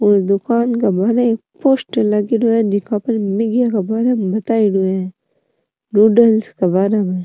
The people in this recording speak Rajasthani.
और दुकान के बहार एक पोस्टर लागेड़ो है जीका बताईडो है --